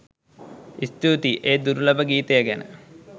ස්තූතියි ඒ දුර්ලභ ගීතය ගැන